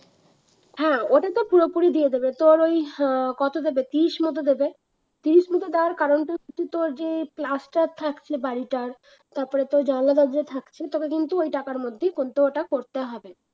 হ্যাঁ ওটা তো পুরোপুরি দিয়ে দেবে তোর ওই আহ কত দেবে তিরিশ মত দেবে তিরিশ মত দেওয়ার কারণটাই হচ্ছে তোর যেই plaster থাকছে বাড়িটার তারপরে তোর জানলা দরজা থাকছে তোকে কিন্তু ওই টাকার মধ্যেই কিন্তু ওটা করতে হবে